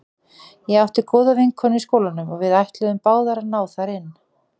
Ég átti góða vinkonu í skólanum og við ætluðum báðar að ná þar inn.